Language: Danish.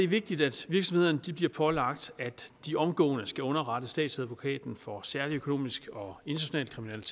vigtigt at virksomhederne bliver pålagt omgående at underrette statsadvokaten for særlig økonomisk og international